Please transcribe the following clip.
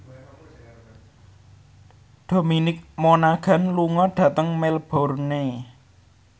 Dominic Monaghan lunga dhateng Melbourne